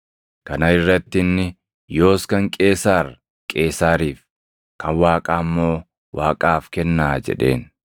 Kana irratti inni, “Yoos kan Qeesaar Qeesaariif, kan Waaqaa immoo Waaqaaf kennaa” jedheen.